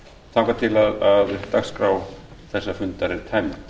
þangað til dagskrá þessa fundar er tæmd